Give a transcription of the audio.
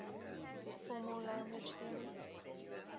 formal language theory